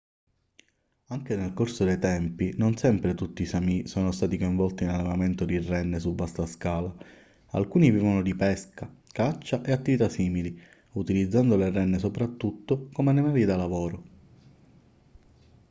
anche nel corso dei tempi non sempre tutti i sámi sono stati coinvolti nell'allevamento di renne su vasta scala; alcuni vivevano di pesca caccia e attività simili utilizzando le renne soprattutto come animali da lavoro